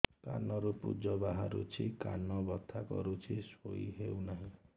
କାନ ରୁ ପୂଜ ବାହାରୁଛି କାନ ବଥା କରୁଛି ଶୋଇ ହେଉନାହିଁ